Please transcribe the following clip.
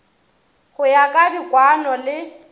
go ya ka dikwaano le